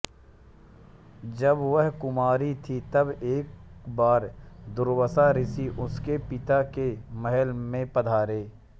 जब वह कुँआरी थी तब एक बार दुर्वासा ऋषि उनके पिता के महल में पधारे